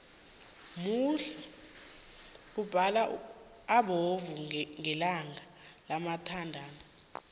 muhle umbalo obovu ngelanga labathandani